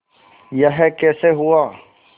यह कैसे हुआ